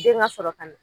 Den ŋa sɔrɔ ka na